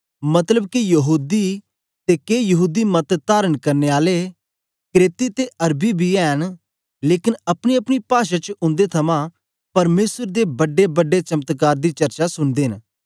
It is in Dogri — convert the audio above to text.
मतलब के यहूदी ते के यहूदी मत धारण करने आले क्रेती ते अरबी बी ऐ न लेकन अपनीअपनी पाषा च उंदे थमां परमेसर दे बड्डेबड्डे चमत्कार दी चर्चा सुनदे न